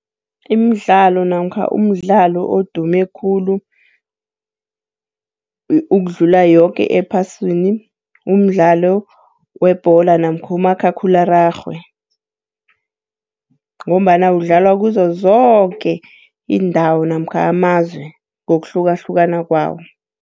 Imidlalo namkha umdlalo odume khulu ukudlula yoke ephasini, umdlalo webholo namkha umakhakhulararhwe, ngombana udlalwa kuzozoke iindawo namkha amazwe ngokuhlukahlukana kwawo.